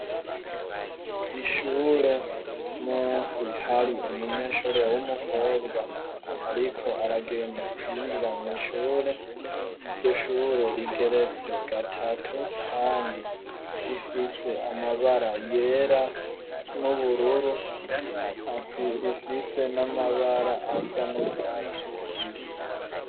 Ishure munsi hari umunyeshure w'umukobwa ariko aragenda kwinjira mw' ishure, iryo shure rigeretse gatatu kandi rifise amabara yera, n'ubururu, rifise n'amabara asa n'urwatsi rubisi.